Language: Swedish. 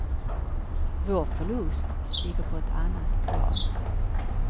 Vår förlust ligger på ett annat plan.